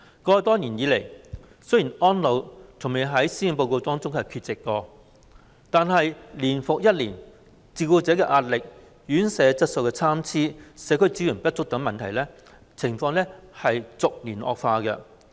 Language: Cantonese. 過去多年來，雖然"安老"從未在施政報告中缺席，但年復一年，照顧者的壓力、院舍質素參差、社區支援不足等問題是逐年惡化。